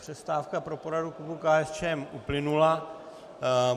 Přestávka pro poradu klubu KSČM uplynula.